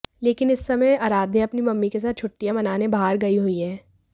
लेकिन इस समय आराध्या अपनी मम्मी के साथ छुट्टियां मनाने बाहर गई हुई हैं